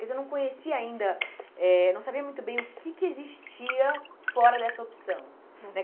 Quer dizer, eu não conhecia ainda eh, não sabia muito bem o que que existia fora dessa opção. Uhum.